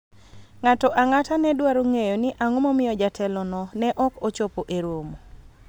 ng'ato ang'ata ne dwaro ng'eyo ni ang'o momiyo jatelo no ne ok ochopo e romo